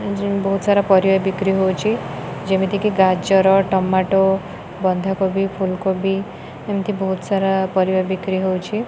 ଏ ଯେମିତି କି ସାରା ପରିବା ବିକ୍ରି ହଉଛି ଯେମିତି କି ଗାଜର ଟମାଟୋ ବନ୍ଧା କୋବି ଫୁଲ୍ କୋବି ଏମିତି ବହୁତ ସାରା ପରିବା ବିକ୍ରି ହଉଛି।